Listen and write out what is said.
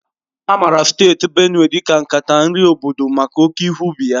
A maara Steeti Benue dị ka nkata nri obodo maka oke ihe ubi ya.